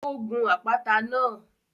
Ó gun àpáta náà